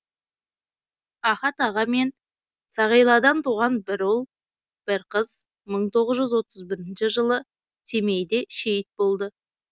ахат аға мен сағиладан туған бір ұл бір қыз мың тоғыз жүз отыз бірінші жылы семейде шейіт болды